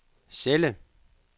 celle